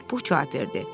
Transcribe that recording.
Pux cavab verdi: